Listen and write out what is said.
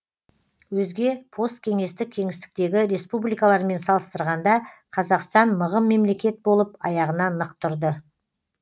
өзге посткеңестік кеңістіктегі республикалармен салыстырғанда қазақстан мығым мемлекет болып аяғынан нық тұрды